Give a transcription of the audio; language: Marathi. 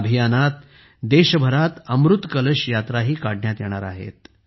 या अभियानात देशभरात अमृत कलश यात्राही काढण्यात येणार आहे